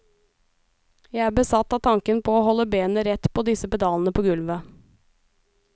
Jeg er besatt av tanken på å holde benet rett på disse pedalene på gulvet.